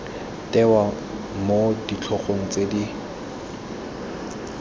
tewa mo ditlhogo tse di